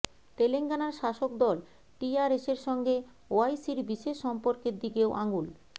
তেলেঙ্গানার শাসকদল টিআরএসের সঙ্গে ওয়াইসির বিশেষ সম্পর্কের দিকেও আঙুল